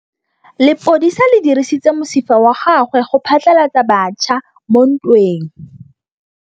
Lepodisa le dirisitse mosifa wa gagwe go phatlalatsa batšha mo ntweng.